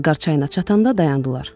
Qarqar çayına çatanda dayandılar.